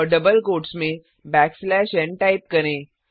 और double quotes में backslash n type करें